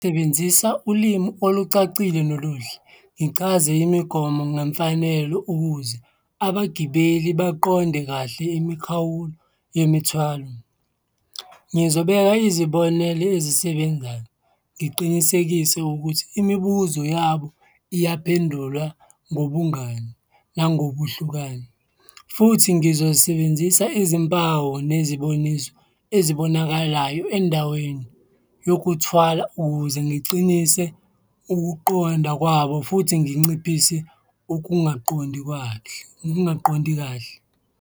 Sebenzisa ulimi olucacile noluhle, ngichaze imigomo ngemfanelo ukuze abagibeli baqonde kahle imikhawulo yemithwalo. Ngizobeka izibonelo ezisebenzayo, ngiqinisekise ukuthi imibuzo yabo iyaphendulwa ngobungani nangobuhlukane futhi ngizosebenzisa izimpawu neziboniso ezibonakalayo endaweni yokuthwala ukuze ngiqinise ukuqonda kwabo futhi nginciphise ukungaqondi kahle.